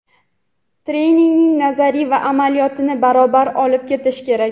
Treningda nazariya va amaliyotni barobar olib ketish kerak.